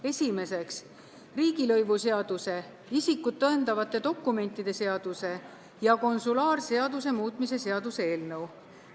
Esimeseks, riigilõivuseaduse, isikut tõendavate dokumentide seaduse ja konsulaarseaduse muutmise seaduse eelnõu.